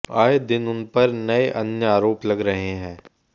आये दिन उनपर नए अन्य आरोप लग रहें हैं